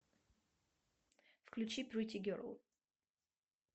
включи претти герл